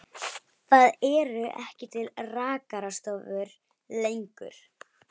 Við Straumsvík stóð hnípinn hópur fólks í blíðviðri.